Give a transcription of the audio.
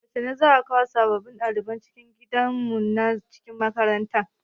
Yaushe za'a kawo sabbin ɗaliban cikin gidan zaman mu na cikin makaranta?